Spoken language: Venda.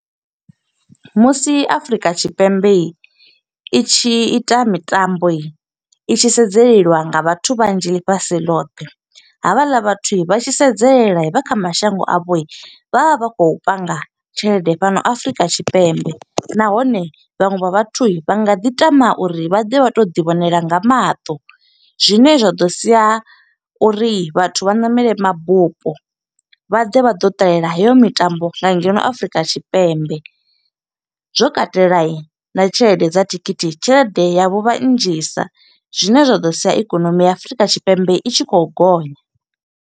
Musi Afurika Tshipembe i tshi ita mitambo, i i tshi sedzeliwa nga vhathu vhanzhi ḽifhasi ḽothe. Havhaḽa vhathu vha tshi sedzelela vha kha mashango a vho, vha vha vha khou panga tshelede fhano Afrika Tshipembe. Nahone, vhaṅwe vha vhathu vha nga ḓi tama uri vha ḓe vha to ḓi vhonela nga maṱo, zwine zwa ḓo sia uri vhathu vha ṋamele mabupo. Vha ḓe vha ḓo ṱalela heyo mitambo nga ngeno Afrika Tshipembe. Zwo katela na tshelede dza thikhithi, tshelede yavho huvha nnzhisa. Zwine zwa ḓo sia ikonomi ya Afurika Tshipembe, i tshi khou gonya.